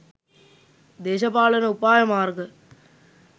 දේශපාලන උපායමාර්ග